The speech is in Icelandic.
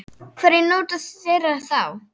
Hverjir njóta þeirra þá?